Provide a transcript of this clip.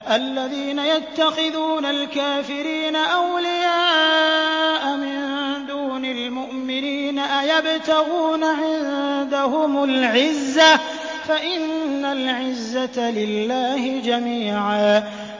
الَّذِينَ يَتَّخِذُونَ الْكَافِرِينَ أَوْلِيَاءَ مِن دُونِ الْمُؤْمِنِينَ ۚ أَيَبْتَغُونَ عِندَهُمُ الْعِزَّةَ فَإِنَّ الْعِزَّةَ لِلَّهِ جَمِيعًا